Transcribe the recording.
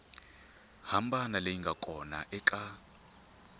hambana leyi nga kona eka